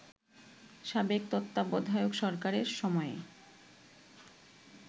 সাবেক তত্ত্বাবধায়ক সরকারের সময়ে